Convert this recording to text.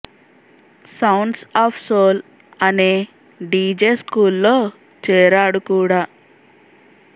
sounds of soul అనే DJ స్కూల్లో చేరాడు కూడా